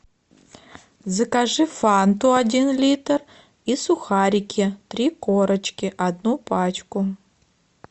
закажи фанту один литр и сухарики три корочки одну пачку